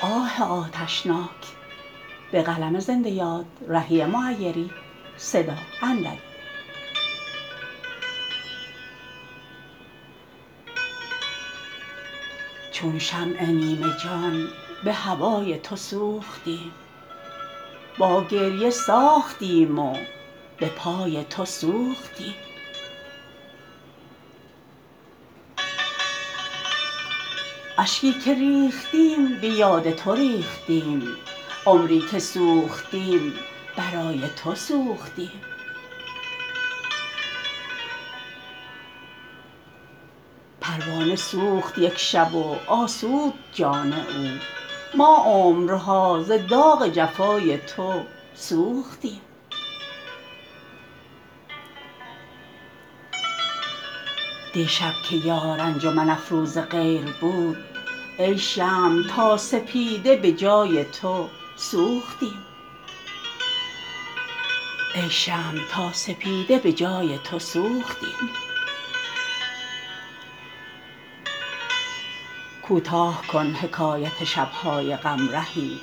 چون شمع نیمه جان به هوای تو سوختیم با گریه ساختیم و به پای تو سوختیم اشکی که ریختیم به یاد تو ریختیم عمری که سوختیم برای تو سوختیم پروانه سوخت یک شب و آسود جان او ما عمرها ز داغ جفای تو سوختیم دیشب که یار انجمن افروز غیر بود ای شمع تا سپیده به جای تو سوختیم کوتاه کن حکایت شب های غم رهی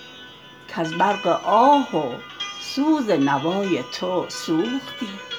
کز برق آه و سوز نوای تو سوختیم